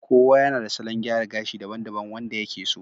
kowa yana da salon gyara gashi daban-daban wanda ya ke so